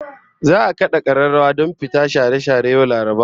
Za'a kada kararrawa don fita share share yau Laraba